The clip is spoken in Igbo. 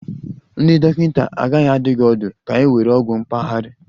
Ndị dọkịta agaghị adụ gị ọdụ ka ị were ogwu mpaghara